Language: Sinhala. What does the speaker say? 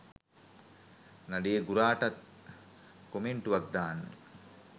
නඩේ ගුරාටත් කොමෙන්ටුවක් දාන්න